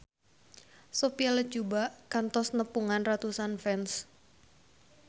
Sophia Latjuba kantos nepungan ratusan fans